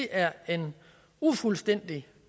er en ufuldstændig